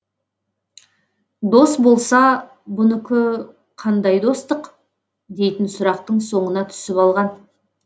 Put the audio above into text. дос болса бұнікі қандай достық дейтін сұрақтың соңына түсіп алған